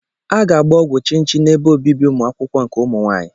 A ga-agba ọgwụ chinchi n'ebe obibi ụmụ akwụkwọ nke ụmụ nwaanyị